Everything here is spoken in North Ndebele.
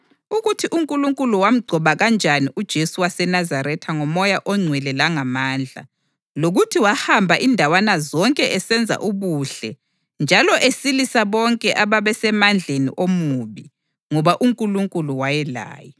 ukuthi uNkulunkulu wamgcoba kanjani uJesu waseNazaretha ngoMoya oNgcwele langamandla, lokuthi wahamba izindawana zonke esenza ubuhle njalo esilisa bonke ababesemandleni omubi, ngoba uNkulunkulu wayelaye.